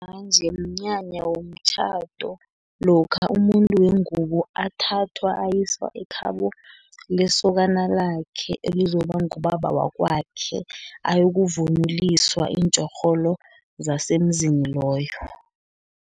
Isimanje mnyanya womtjhado, lokha umuntu wengubo athathwa ayiswa ekhabo lesokana lakhe, elizokuba ngubaba wakwakhe, ayokuvunuliswa iintjorholo zasemzini loyo.